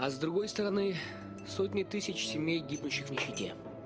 а с другой стороны сотни тысяч семей гибнущих в нищете